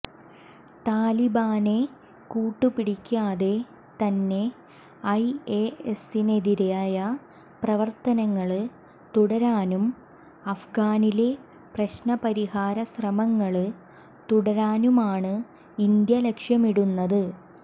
താലിബാനെ കൂട്ടുപിടിക്കാതെ തന്നെ ഐഎസിനെതിരായ പ്രവര്ത്തനങ്ങള് തുടരാനും അഫ്ഗാനിലെ പ്രശ്നപരിഹാര ശ്രമങ്ങള് തുടരാനുമാണ് ഇന്ത്യ ലക്ഷ്യമിടുന്നത്